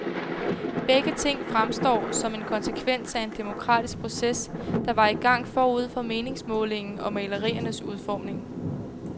Begge ting fremstår som en konsekvens af en demokratisk proces, der var i gang forud for meningsmålingen og maleriernes udformning.